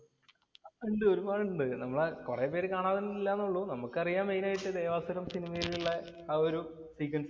അല്ല ഒരുപാട് ഉണ്ട്. നമ്മുടെ കുറെ പേര് കാണാതുള്ളാതുള്ളു. നമുക്കറിയാം മെയിന്‍ ആയിട്ട് ദേവാസുരം സിനിമയിലുള്ള ആ ഒരു ഫ്രീക്വന്‍സി